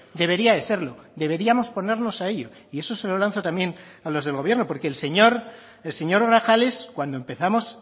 debería de serlo deberíamos ponernos a ello y eso se lo lanzo también a los del gobierno porque el señor el señor grajales cuando empezamos